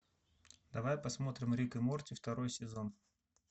давай посмотрим рик и морти второй сезон